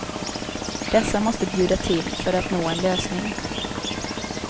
Dessa måste bjuda till för att nå en lösning.